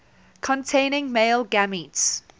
containing male gametes